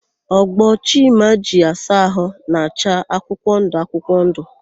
Ogbo Chima ji asa ahụ na-acha akwụkwọndụ akwụkwọndụ.